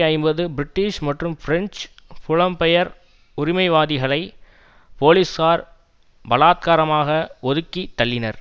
ஐம்பது பிரிட்டிஷ் மற்றும் பிரெஞ்சு புலம்பெயர் உரிமைவாதிகளை போலீசார் பலாத்காரமாக ஒதுக்கி தள்ளினர்